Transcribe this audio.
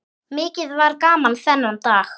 Mikið var gaman þennan dag.